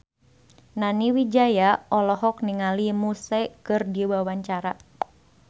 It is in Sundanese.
Nani Wijaya olohok ningali Muse keur diwawancara